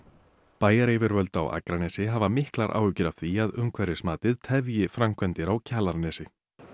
bæjaryfirvöld á Akranesi hafa miklar áhyggjur af því að umhverfismatið tefji framkvæmdir á Kjalarnesi